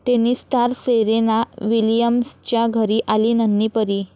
tennis star Serena विलियम्सच्या घरी आली नन्ही परी